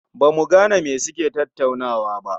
Ba mu gane me suke tattaunawa ba